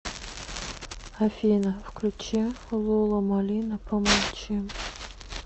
афина включи лила манила помолчим